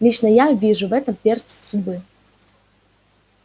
лично я вижу в этом перст судьбы